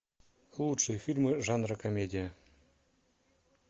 лучшие фильмы жанра комедия